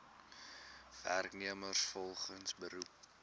werknemers volgens beroep